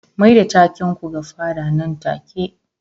Mai da taken ku ga fada nan take